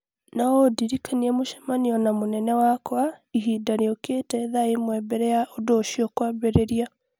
No ũndirikanie mũcemanio na mũnene wakwa ihinda rĩũkĩte thaa ĩmwe mbere ya ũndũ ũcio kwambĩrĩria